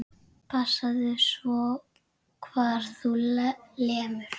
Passaðu svo hvar þú lemur.